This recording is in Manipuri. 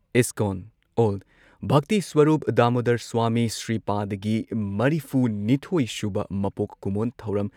ꯏꯁꯀꯣꯟ ꯑꯣꯜ ꯚꯛꯇꯤꯁ꯭ꯋꯔꯨꯞ ꯗꯥꯃꯣꯗꯔ ꯁ꯭ꯋꯥꯃꯤ ꯁ꯭ꯔꯤꯄꯥꯗꯒꯤ ꯃꯔꯤꯐꯨꯅꯤꯊꯣꯏ ꯁꯨꯕ ꯃꯄꯣꯛ ꯀꯨꯝꯑꯣꯟ ꯊꯧꯔꯝ